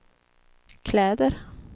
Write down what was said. kläder